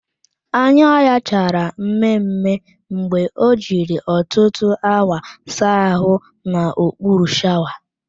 Anya ya chara mme mme mgbe o jiri ọtụtụ awa saa ahụ n'okpuru shawa